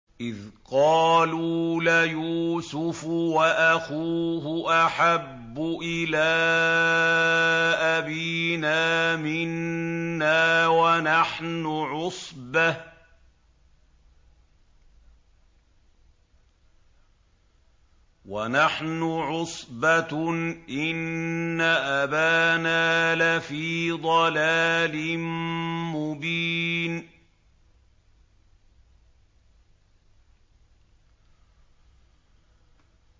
إِذْ قَالُوا لَيُوسُفُ وَأَخُوهُ أَحَبُّ إِلَىٰ أَبِينَا مِنَّا وَنَحْنُ عُصْبَةٌ إِنَّ أَبَانَا لَفِي ضَلَالٍ مُّبِينٍ